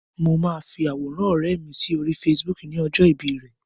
Mo máa fi àwòrán ọ̀rẹ́ mi sóri Facebook ní ọjọ́ ìbí rẹ̀.